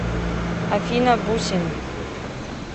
афина бусин